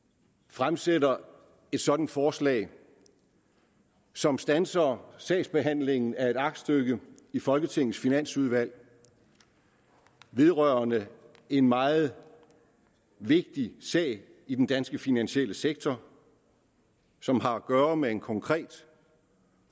fremsætter et sådant forslag som standser sagsbehandlingen af et aktstykke i folketingets finansudvalg vedrørende en meget vigtig sag i den danske finansielle sektor som har at gøre med en konkret